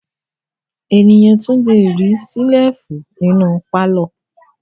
Ènìyàn tún le rí ṣẹ́lífù nínú pálọ̀.